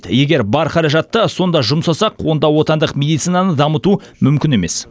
егер бар қаражатты сонда жұмсасақ онда отандық медицинаны дамыту мүмкін емес